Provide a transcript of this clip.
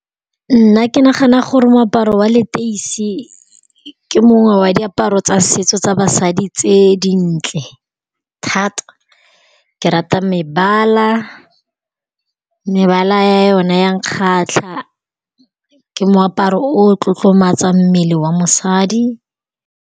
Nna ke nagana gore moaparo wa leteisi ke mongwe wa diaparo tsa setso tsa basadi tse dintle thata, ke rata mebala mebala yone ya nkgatlha ke moaparo o tlotlomatsang mmele wa mosadi.